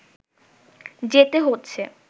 যেতে হচ্ছে